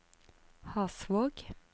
Hasvåg